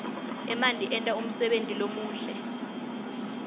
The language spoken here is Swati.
emanti enta umsebenti lomuhle